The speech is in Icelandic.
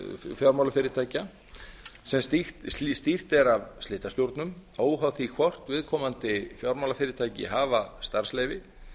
fjármálafyrirtækja sem stýrt er af slitastjórnum óháð því hvort viðkomandi fjármálafyrirtæki hafa starfsleyfi